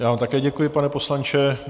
Já vám také děkuji, pane poslanče.